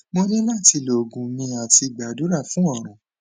mo ni lati lo ogun mi ati gbadura fun orun